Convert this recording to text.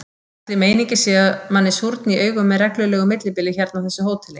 Ætli meiningin sé að manni súrni í augum með reglulegu millibili hérna á þessu hóteli?